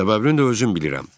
Səbəbini də özüm bilirəm.